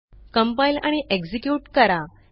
compile आणि execute करा